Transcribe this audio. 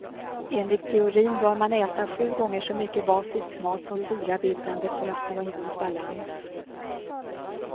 Enligt teorin bör man äta sju gånger så mycket basisk mat som syrabildande för att få en god balans.